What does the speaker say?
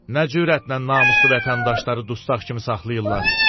Nə cürətlə namuslu vətəndaşları dustaq kimi saxlayırlar?